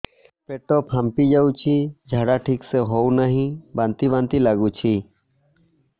ପେଟ ଫାମ୍ପି ଯାଉଛି ଝାଡା ଠିକ ସେ ହଉନାହିଁ ବାନ୍ତି ବାନ୍ତି ଲଗୁଛି